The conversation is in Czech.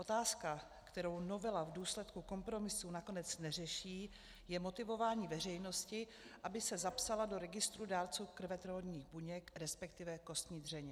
Otázka, kterou novela v důsledku kompromisu nakonec neřeší, je motivování veřejnosti, aby se zapsala do registru dárců krvetvorných buněk, respektive kostní dřeně.